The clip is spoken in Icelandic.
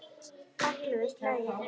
Ellefu slagir.